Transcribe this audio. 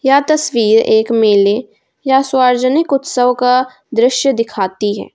यह तस्वीर एक मेले या सार्वजनिक उत्सव का दृश्य दिखाती है।